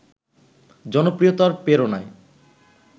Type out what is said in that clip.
জনপ্রিয়তার প্রেরণায়